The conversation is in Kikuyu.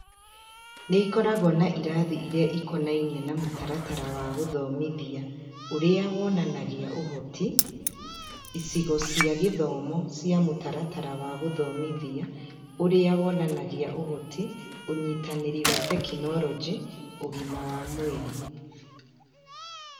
Nĩ ĩkoragwo na irathi iria ikonainie na Mũtaratara wa Gũthomithia Ũrĩa Wonanagia ũhoti, icigo cia gĩthomo cia Mũtaratara wa Gũthomithia Ũrĩa Wonanagia ũhoti, ũnyitanĩri wa tekinoronjĩ, ũgima wa mwĩrĩ